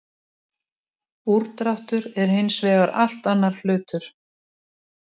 Úrdráttur er hins vegar allt annar hlutur.